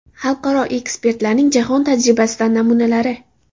Xalqaro ekspertlarning jahon tajribasidan namunalari.